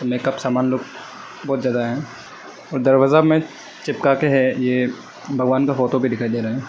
Makeup सामान लोग बहोत ज्यादा है और दरवाजा में चिपका के है ये भगवान का फोटो भी दिखाई दे रहा है।